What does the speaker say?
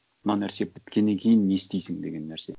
мына нәрсе біткеннен кейін не істейсің деген нәрсе